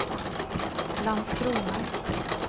Landskrona